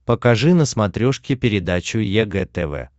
покажи на смотрешке передачу егэ тв